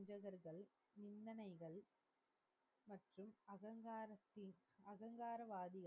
அகங்காரத்தி அகங்கார வாதி,